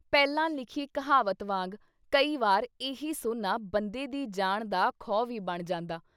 ਪਹਿਲਾਂ ਲਿਖੀ ਕਹਾਵਤ ਵਾਂਗ ਕਈ ਵਾਰ ਇਹੀ ਸੋਨਾ ਬੰਦੇ ਦੀ ਜਾਨ ਦਾ ਖਉ ਵੀ ਬਣ ਜਾਂਦਾ।